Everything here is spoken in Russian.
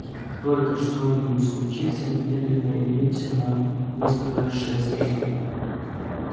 и как только что-нибудь случится немедленно явимся на место происшествия